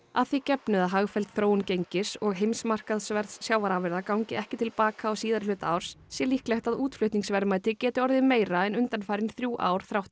að því gefnu að hagfelld þróun gengis og heimsmarkaðsverðs sjávarafurða gangi ekki til baka á síðari hluta árs sé líklegt að útflutningsverðmæti geti orðið meira en undanfarin þrjú ár þrátt